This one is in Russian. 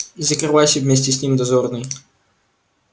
закрывайся вместе с ним дозорный